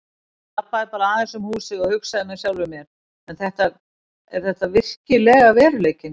Ég labbaði bara aðeins um húsið og hugsaði með sjálfum mér: Er þetta virkilega veruleikinn?